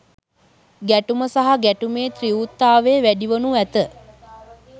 ගැටුම සහ ගැටුමේ තීව්‍රතාවය වැඩිවනු ඇත.